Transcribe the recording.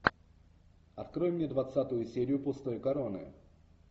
открой мне двадцатую серию пустой короны